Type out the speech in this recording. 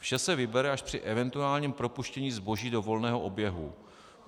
Vše se vybere až při eventuálním propuštění zboží do volného oběhu.